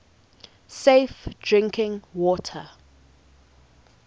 safe drinking water